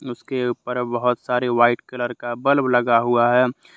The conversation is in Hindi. उसके ऊपर बहुत सारे वाइट कलर का बल्ब लगा हुआ है।